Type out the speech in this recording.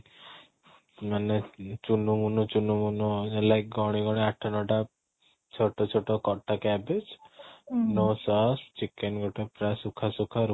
ମାନେ ଚୁନୁ ମୁନୁ ଚୁନୁ ମୁନୁ ହେଲା କି କ'ଣ ଗୋଟେ ଆଠ ନଅଟା ଛୋଟ ଛୋଟ କଟା cabbage no sauce chicken ଗୋଟେ fry ଶୁଖା ଶୁଖା